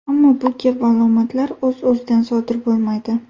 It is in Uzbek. Ammo bu kabi alomatlar o‘z-o‘zidan sodir bo‘lmaydi.